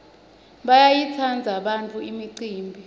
bayayitsandza bantfwana imicimbi